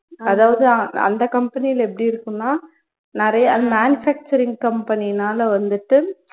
அதாவது அந்த company ல எப்படி இருக்குன்னா நிறையா manufacturing company னால வந்துட்டு